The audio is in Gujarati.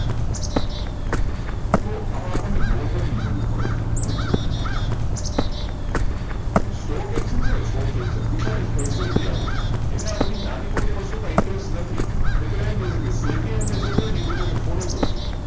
તો એમાં અપાન ને જરૂર પડે વચ્ચે stock exchange છેને stock exchange બિચારી facility આપે છે બેમાં બધી નાની મોટી વસ્તુ માં interest નથી એટલે એમ કેયી છે કે trade ની અંદર